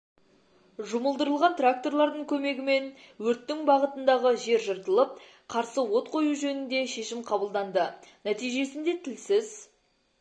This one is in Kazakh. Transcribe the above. жұмылдырылған тракторлардың көмегімен өрттің бағытындағы жер жыртылып қарсы от қою жөнінде шешім қабылданды нәтижесінде тілсіз